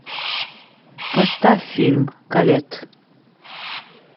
поставь фильм колетт